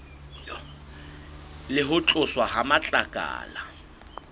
le ho tloswa ha matlakala